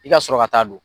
I ka sɔrɔ ka taa don